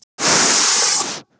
En hver er Guð?